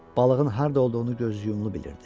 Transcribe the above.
Balığın harda olduğunu göz yumlu bilirdi.